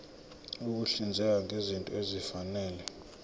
ukuhlinzeka ngezinto ezifanele